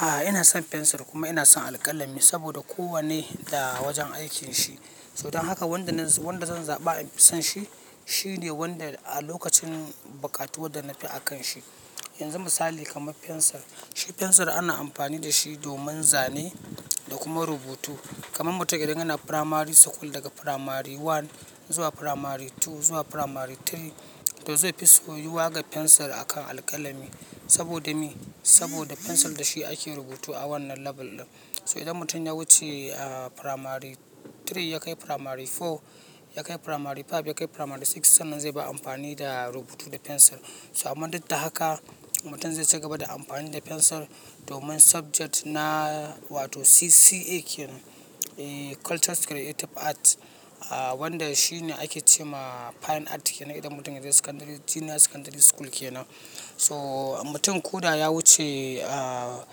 A, ina son pencil kuma ina son alƙalami saboda kowanne da wajen aikin shi. To don haka wanda zan zaɓa in fi son shi, shine wanda a lokacin bukatuwa da na fi akan shi. Yanzu misali kamar pencil, shi pencil ana amfani da shi domin zane da kuma rubutu. Kaman mutum idan yana primary school daga primary one zuwa primary two zuwa primary three, to zai fi so yiwa ga pencil akan alƙalami saboda me? Saboda fensir da shi ake rubutu a wannan level ɗin. To idan mutum ya wuce a primary three, ya kai primary four, ya kai primary five, ya kai primary six, sannan zai bar amfani da rubutu da pencil. To amma duk da haka mutum zai ci gaba da amfani da pencil domin subject na wato CCA kenan, eh Cultural Creative Art, a wanda shi ne ake ce ma fine art kenan idan mutum ya je secondary-- junior secondary school kenan. To mutum ko da ya wuce a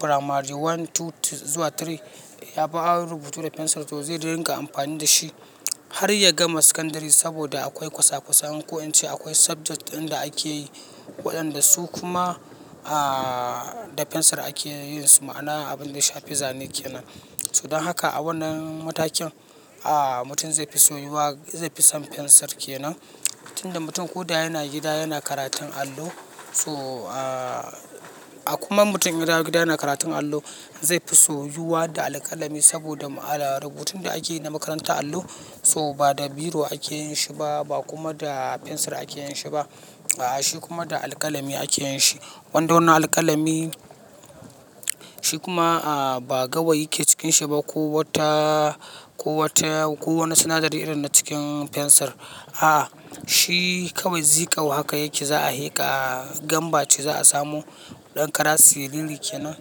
primary one, two zuwa three, ya fi har rubutu da pencil, to zai ringa amfani da shi har ya gama secondary saboda akwai kwasakwasa. In ko in ce akwai subject ɗin da ake yi waɗanda su kuma a da pencil ake yin su, ma'ana abin da ya shafi Zane kenan. To don haka a wannan matakin, a mutum zai fi so yiwuwa, zai fi son pencil kenan. Tun da mutum ko da yana gida yana karatun allo, so a kuma mutum idan ya dawo gida yana karatun allo, zai fi so yiwuwa da alƙalami saboda ma- rubutun da ake yi na makarantar allo so ba da biro ake yin shi ba, ba kuma da pencil ake yin shi ba. A'a, shi kuma da alƙalami ake yin shi. Wanda wannan alƙalami shi kuma a ba gawayi yake cikinsa ba ko wata, ko wata, ko wane sinadari irin na cikin fensir. A, shi kawai zikau haka yake, za a heka, a gamba ce za a samu ɗan kara siriri kenan,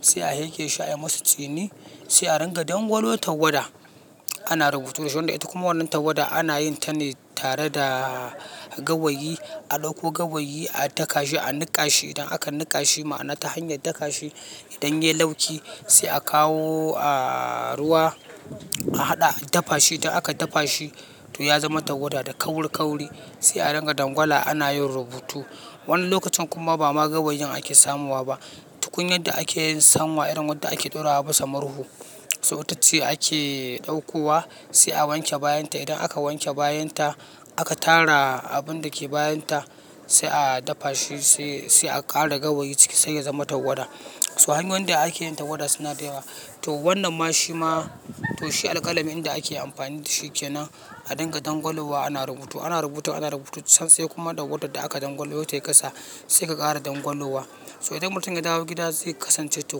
sai a heke shi ayi masu tsini, sai a ringa dangwalo tagwada. Ana rubutu da shi, wanda ita kuma wannan tawada ana yin ta ne tare da gawayi, a ɗauko gawayi a daka shi, a niƙa shi. Idan aka niƙa shi ma'ana ta hanyar daka shi, idan ya lauki sai a kawo a ruwa, a haɗa, a dafa shi. E dan aka dafa shi to ya zama tawada da kaurikauri sai a ringa dangwala ana yin rubutu. Wani lokacin kuma ba ma gawayin ake samowa ba. Tukunya da ake yin sanwa irin wadda ake ɗora wa bisa murhu, so itace ake ɗauko wa sai a wanke bayan ta. Idan aka wanke bayan ta aka tara abun da ke bayan ta sai a dafa shi sai, sai a ƙara gawayi ciki sai ya zama tawada. So hanyoyin da ake yin tagwada suna da yawa. To wannan ma shi ma to shi alƙalami inda ake amfani da shi kenan a dinga dangwalowa ana rubutu. Ana rubuta, ana rubuta zan sai kuma dawadar da aka dangwalo tayi ƙasa sai ka ƙara dangwalowa. So idan mutum ya dawo gida zai kasance to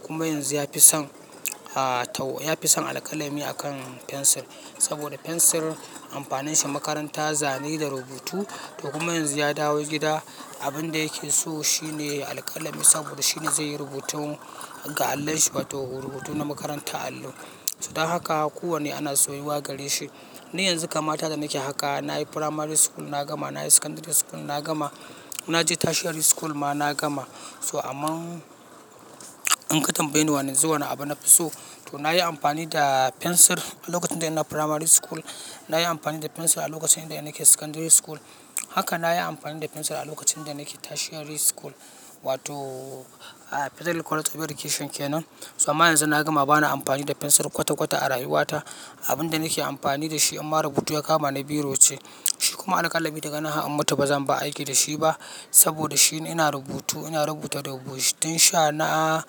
kuma yanzu ya fi son a tau-- ya fi son alƙalami akan pencil saboda pencil amfanin shi makaranta, Zane da rubutu. To kuma yanzu ya dawo gida abin da yake so shine alƙalami saboda shine zai yi rubutun ga allon shi wato rubutu na makarantar allo. To don haka kowanne ana soyiwa gare shi. Ni yanzu kamata da nake haka, na yi primary school na gama, na yi secondary school na gama, na je tertiary school ma na gama. To amma in ka tambaye ni wane zuwa na abu na fi so, to na yi amfani da pencil a lokacin da ina primary school. Na yi amfani da pencil a lokacin da ina ke secondary school. Haka na yi amfani da pencil a lokacin da nake tertiary school wato a Federal College of Education kenan. So amma yanzu na gama ba na amfani da pencil kwata-kwata a rayuwa ta. Abun da nake amfani da shi in ma rubutu ya kama ni biro ce. Shi kuma alƙalami daga nan har in mutu ba zan ba aiki da shi ba saboda shi ina rubutu, ina rubuta rubutun sha na,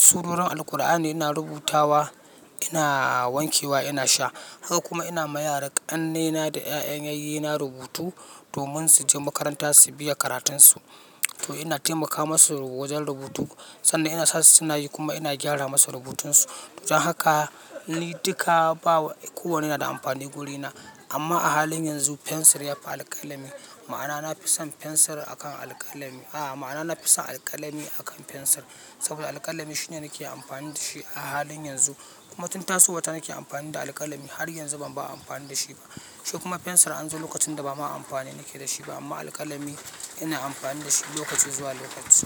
surorin Alkur'ani ina rubuta wa, ina wanke wa, ina sha. Haka kuma ina ma yara ƙannena da 'ya'yan yayye na rubutu domin su je makaranta su biya karatunsu. To ina taimaka masu wajen rubutu sanda ina sa su suna yi kuma ina gyara masu rubutunsu. Don haka ni duka bawa-- kowanne yana da amfani wurina. Amma a halin yanzu pencil ya fi alƙalami. Ma'ana na fi son pencil akan alƙalami, a'a ma'ana na fi son alƙalami akan pencil saboda alƙalami shine nake amfani da shi a halin yanzu. Kuma tun tasowa ta nake amfani da alƙalami har yanzu ban bar amfani da shi ba. Shi kuma pencil an zo lokacin da ba ma amfani nake da shi ba amma alƙalami ina amfani da shi lokaci zuwa lokaci.